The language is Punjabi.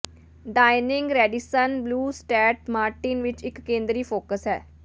ਡਾਇਨਿੰਗ ਰੈਡੀਸਨ ਬਲੂ ਸਟੈਟ ਮਾਰਟਿਨ ਵਿਚ ਇਕ ਕੇਂਦਰੀ ਫੋਕਸ ਹੈ